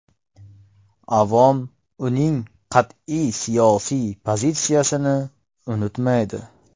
Avom uning qat’iy siyosiy pozitsiyasini unutmaydi.